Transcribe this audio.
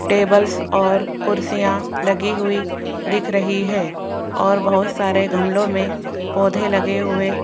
tables और कुर्सियां लगी हुई दिख रही हैं और बहुत सारे गमलो में पौधे लगे हुए --